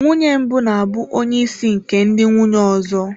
Nwunye mbụ na-abụ onye isi nke ndị nwunye ọzọ.